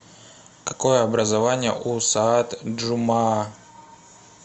какое образование у саад джумаа